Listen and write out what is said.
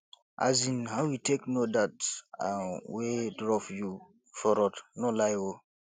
um how you take no dat an wey drop you for road no lie oo